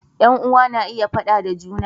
Yan uwa na iya faɗa da juna